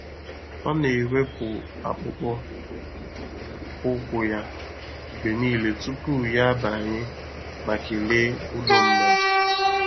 Ọ na-ewepụ akpụkpọ ụkwụ ya mgbe niile tupu ya abanye ma kelee ụlọ mmadụ.